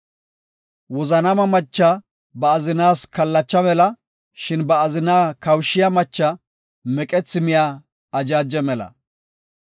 Wozanaama machiya ba azinaas kallacha mela; shin ba azina kawushiya machiya meqethi miya ajaaje mela.